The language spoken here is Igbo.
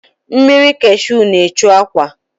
Mmiri kashu na-echu akwa.